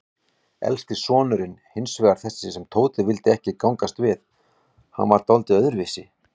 Elsti sonurinn hinsvegar, þessi sem Tóti vildi ekki gangast við, hann var dáldið öðruvísi.